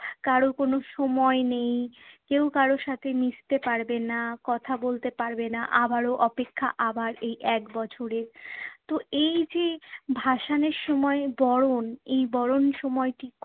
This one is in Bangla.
কারো কোনো সময় নেই, কেউ কারো সাথে মিশতে পারবে না, কথা বলতে পারবে না। আবারো অপেক্ষা আবার এই এক বছরের। তো এই যে ভাসানের সময় বরণ এই বরণের সময়টি